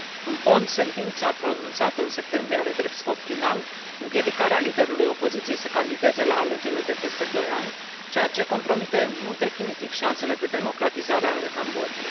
În fond, sentința pronunțată în septembrie are drept scop final împiedicarea liderului opoziției să candideze la alegerile de peste doi ani, ceea ce compromite în mod definitiv șansele de democratizare ale Cambodgiei.